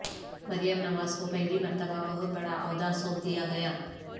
مریم نواز کو پہلی مرتبہ بہت بڑاعہدہ سونپ دیا گیا